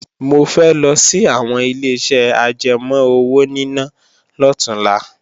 Mo fẹ́ lọ sí àwọn Ileṣẹ́ ajẹmọ́ owóníná lọ̀túnla